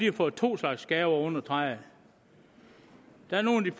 har fået to slags gaver under træet der er nogle